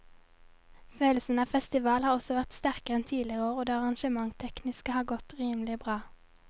Følelsen av festival har også vært sterkere enn tidligere år og det arrangementstekniske har godt rimelig bra.